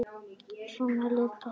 Svona leit pakkinn út.